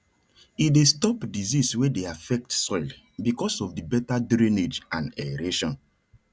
e dey stop disease wey dey affect soil because of di better drainage and aeration